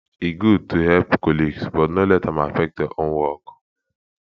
e good to to help colleagues but no let am affect your own work